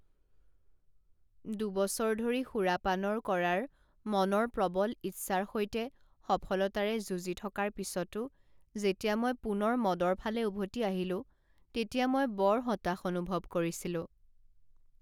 দুবছৰ ধৰি সুৰাপানৰ কৰাৰ মনৰ প্ৰবল ইচ্ছাৰ সৈতে সফলতাৰে যুঁজি থকাৰ পিছতো যেতিয়া মই পুনৰ মদৰ ফালে উভতি আহিলো তেতিয়া মই বৰ হতাশ অনুভৱ কৰিছিলোঁ।